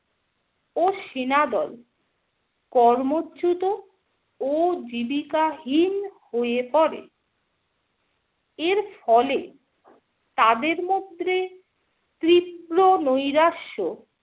ও সেনাদল কর্মচ্যুত ও জীবিকা হীন হয়ে পড়ে । এর ফলে তাদের মধ্যে তীব্র নৈরাশ্য